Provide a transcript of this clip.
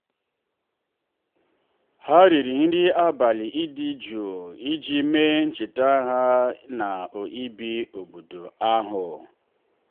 ha riri nri abalị dị jụụ iji mee ncheta mbụ ha ibi n'obodo ahụ.